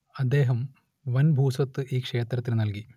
അദ്ദേഹം വൻ ഭൂസ്വത്ത് ഈ ക്ഷേത്രത്തിനു നൽകി